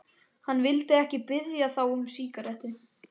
Hann vildi ekki biðja þá um sígarettu.